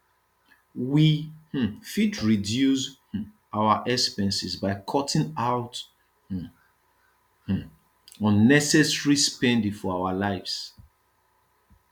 we um fit reduce um our expenses by cutting out um um unnecessary spending for our lives